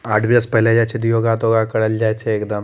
आठ बजे से पहले जाय छै ते योगा तोगा करल जाय छै एकदम।